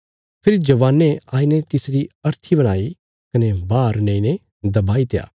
फेरी जवानें आईने तिसरी अर्थी बणाई कने बाहर नेईने दबाईत्या